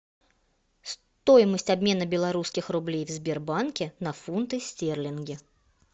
стоимость обмена белорусских рублей в сбербанке на фунты стерлинги